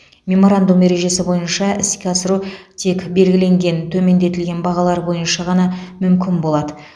меморандум ережесі бойынша іске асыру тек белгіленген төмендетілген бағалар бойынша ғана мүмкін болады